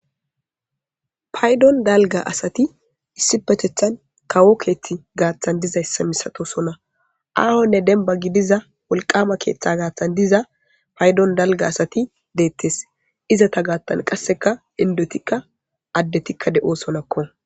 Payiddonni daligga asati issippeteththan kawo keti gaththanni dizayissa misatosonna ahonne dinnibba gidiza woliwama keththa gaththanni diza payiddonni daliga asati detees.izeta gaththanni qasekka inidetikka adettikka de'ossonakko